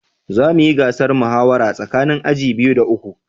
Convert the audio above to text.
Za mu yi gasar muhawara tsakanin aji biyu da uku